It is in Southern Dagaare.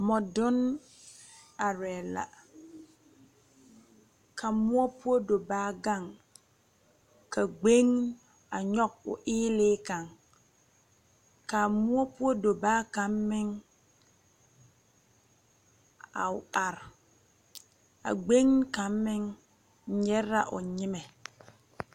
Mɔdunni arẽ la ka muo pou dobaa gang ka kpɛng nyugi ɔ eeilii kang ka a mou pou dobaa kang meng a arẽ a kpɛngni kang meng nyigri la ɔ nyimɛ.